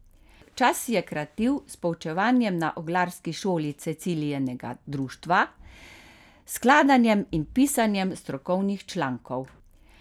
Čas si je kratil s poučevanjem na orglarski šoli Cecilijinega društva, skladanjem in pisanjem strokovnih člankov.